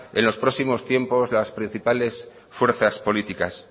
en los próximos tiempos las principales fuerzas políticas